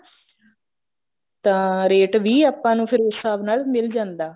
ਤਾਂ ਰੇਟ ਵੀ ਆਪਾਂ ਨੂੰ ਫੇਰ ਉਸ ਹਿਸਾਬ ਨਾਲ ਮਿਲ ਜਾਂਦਾ